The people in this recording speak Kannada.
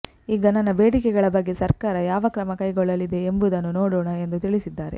ಈಗ ನನ್ನ ಬೇಡಿಕೆಗಳ ಬಗ್ಗೆ ಸರ್ಕಾರ ಯಾವ ಕ್ರಮ ಕೈಗೊಳ್ಳಲಿದೆ ಎಂಬುದನ್ನು ನೋಡೋಣ ಎಂದು ತಿಳಿಸಿದ್ದಾರೆ